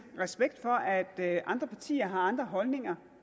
respekt for at andre partier har andre holdninger